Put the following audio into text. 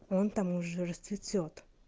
он там уже расцветёт